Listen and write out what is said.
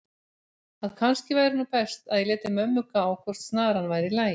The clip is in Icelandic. að kannski væri nú best að ég léti mömmu gá hvort snaran væri í lagi.